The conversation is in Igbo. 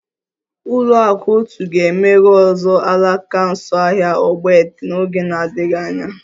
Ụlọakụ otu ga-emeghe ọzọ alaka nso ahịa ogbete n'oge na-adịghị anya